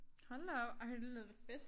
Hold da op ej det lyder da fedt